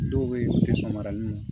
Dɔw be yen u ti sɔn maranin na